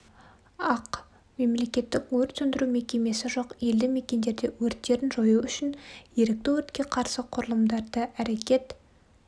ақ мемлекеттік өрт сөндіру мекемесі жоқ елді-мекендерде өрттерін жою үшін ерікті өртке қарсы құрылымдары әрекет